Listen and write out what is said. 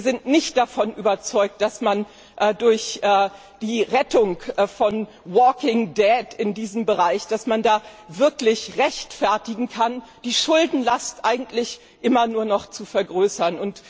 Wir sind nicht davon überzeugt, dass man durch die Rettung von walking dead in diesem Bereich wirklich rechtfertigen kann, die Schuldenlast eigentlich immer nur noch zu vergrößern.